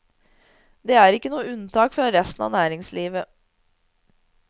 De er ikke noe unntak fra resten av næringslivet.